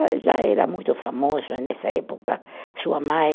Já era muito famoso nessa época, sua mãe